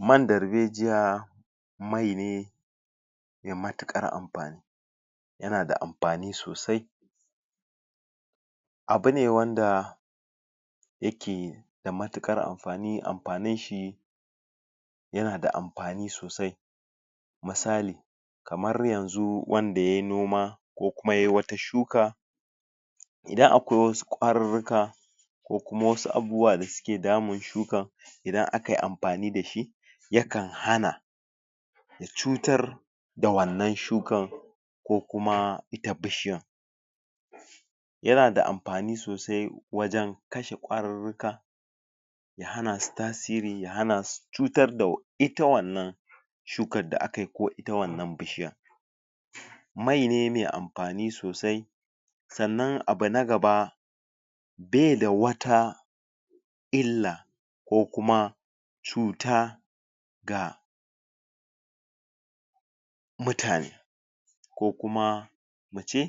man da zai ja mai ne mai matikar amfani yanada amfani sosai abu ne wanda yake da matikar amfani amfanin shi yanada mafani sosai misali kamar yanzu wanda yayi noma ko kuma yayi wata shuka idan akwai wasu kwarurruka da kujma wasu abubuwa da suke damun shuka idan aka yi amfani da shi yakan hana cutar da wannan shukan ko kuma da bishiyan yanada amafani sosai wajen kashe kwarurruka da hana su tasiri da hana su cutar da ita wannan shukan da aka yi ko ita wannan bishiyan mai ne mai amfani sosai sannan abu na gaba bai da wata illa ko kuma cuta ga mutane ko kuma mu ce